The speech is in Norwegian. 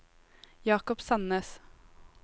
Jakob Sandnes